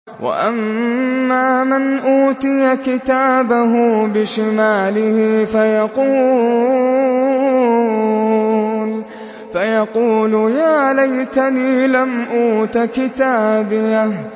وَأَمَّا مَنْ أُوتِيَ كِتَابَهُ بِشِمَالِهِ فَيَقُولُ يَا لَيْتَنِي لَمْ أُوتَ كِتَابِيَهْ